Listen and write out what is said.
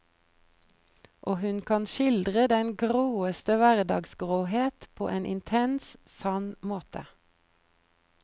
Og hun kan skildre den gråeste hverdagsgråhet på en intens, sann måte.